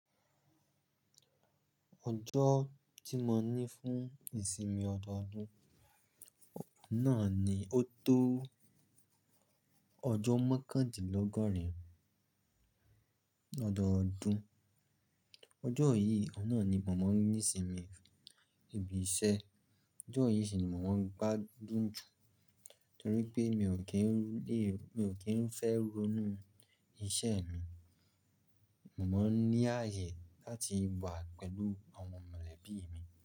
Ọjọ́ tí mo ní fún ìsinmi ọdọọdún náà ni ó tó ọjọ́ mẹ́kàndínlọ́gọ́rin ọdọọdún. Ọjọ́ yìí ọ̀nà ni mò máa n ní ìsinmi ibi iṣẹ́. Ọjọ́ yìí sì ni mo máa n gbádùn jù torí pé mi ò kí ń lè, mi ò kí ń fẹ́ ronú iṣẹ́ mi. Mo máa n ní ààyè láti wà pẹ̀lú àwọn mọ̀lẹ́bí mi.